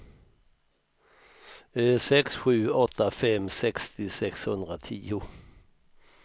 sex sju åtta fem sextio sexhundratio